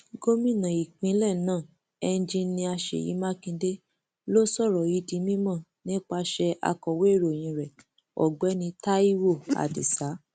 gomina ìpínlẹ náà enjinnnia ṣèyí makinde ló sọ ọrọ yìí di mímọ nípasẹ akọwé ìròyìn rẹ ọgbẹni taiwo adisa